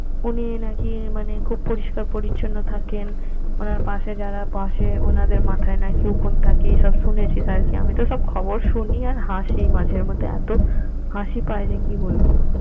উনি নাকি মানে খুব পরিষ্কার পরিচ্ছন্ন থাকেন উনার পাশে যারা বসে ওনাদের মাথায় নাকি উকুন থাকে এই সব শুনেছিস আরকি আমিতো সব খবর শুনি আর হাসি মাঝেমধ্যে এত হাসি পায় যে কি বলবো